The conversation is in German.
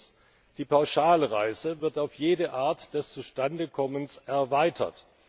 Erstens Die Pauschalreise wird auf jede Art des Zustandekommens erweitert.